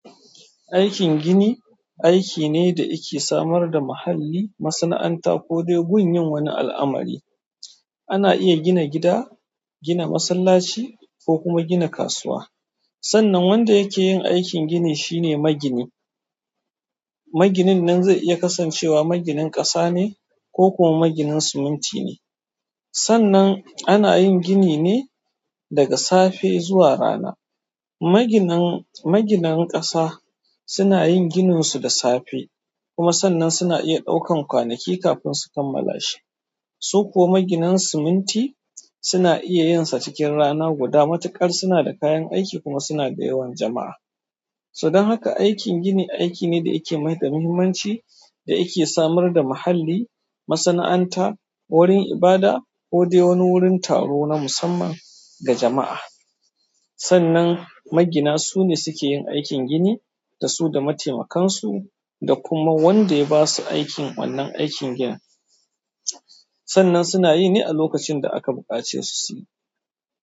Aikin gini aikine dayake samar da muhalli, masana'anta kodai gun yin wani al'amari. Ana iya gina gida, gina masallaci kokuma gina kasuwa. Sannan wanda yake yin aikin gini shine magini. Maginin nan zai iya kasancewa maginin ƙasa ne ko kuma maginin siminti ne. Sannan ana yin gini ne daga safe zuwa rana. Maginan, maginan ƙasa sunayin ginin su da safe kuma sannan suna iya ɗaukan kwanaki kafin su kammala shi. Su kuma maginan siminti suna iya yinsa cikin rana guda matuƙar sunada kayan aiki kuma sunada yawan jama'a. To dan haka aikin gini aikine dayake mai da muhimmanci dayake samar da muhalli, masana'anta, wurin ibada kodai wani wurin taro na musamman ga jama'a. Sannan magina sune sukeyin aikin gini dasu da mataimakansu dakuma wanda yabasu aikin wannan aikin ginin. Sannan suna yine alokacin da aka buƙacesu suyi.